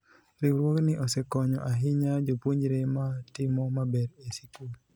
riwruogni osekonyo ahinya jopuonjre ma timo maber e sikul